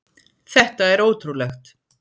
Þetta er ótrúlegt.